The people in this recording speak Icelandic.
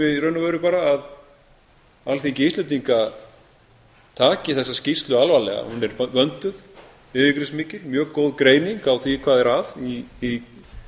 veru bara að alþingi íslendinga taki þessa skýrslu alvarlega hún er vönduð yfirgripsmikil mjög góð greining á því hvað er að í